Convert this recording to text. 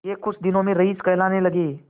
यह कुछ दिनों में रईस कहलाने लगेंगे